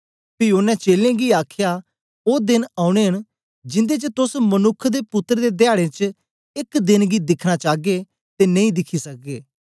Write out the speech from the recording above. पी ओनें चेलें गी आखया ओ देन औने न जिन्दे च तोस मनुक्ख दे पुत्तर दे धयाडें च एक देंन गी दिखना चागे ते नेई दिखी सकगे